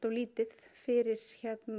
lítið fyrir